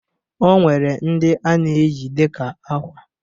O nwere ndi a na-eyi dịka akwa